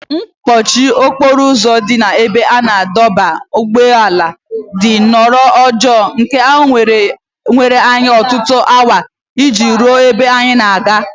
Mkpọchi okporo ụzọ dị n’ebe a na-adọba ụgbọala dị nnọọ njọ nke na o were anyị ọtụtụ awa iji ruo ebe anyị na-aga.